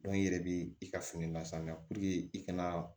i yɛrɛ bi i ka fini lasaniya i kana